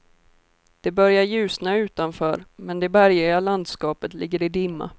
Det börjar ljusna utanför, men det bergiga landskapet ligger i dimma.